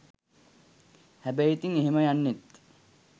හැබැයි ඉතින් එහෙම යන්නෙත්